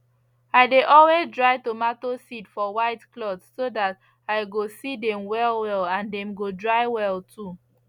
i dey always dry tomato seed for white cloth so that i go see dem well well and dem go dry well too